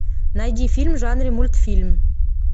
найди фильм в жанре мультфильм